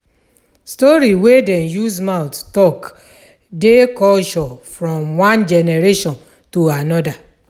Story wey dem use mouth talk dey culture from one generation to anoda